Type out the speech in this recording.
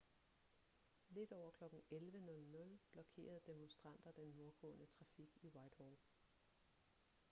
lidt over kl. 11:00 blokerede demonstranter den nordgående trafik i whitehall